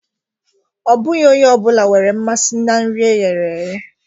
Ọ bụghị onye ọ bụla nwere mmasị na nri e ghere eghe